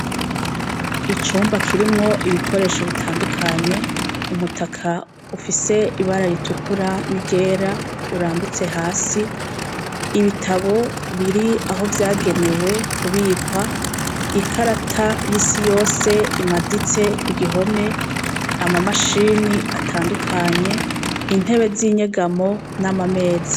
Icumba kirimwo ibikoresho itandukanye, umutaka ufise ibara ritukura n'iryera, urambitse hasi, ibitabo biri aho vyagenewe kubikwa, ikarata y'isi yose imaditse kugihome, amamashini atandukanye, intebe z'inyegamo n'amameza.